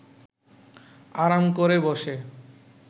আরাম করে বসে